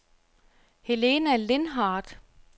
Helena Lindhardt